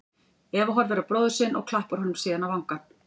Eva horfir á bróður sinn og klappar honum síðan á vangann.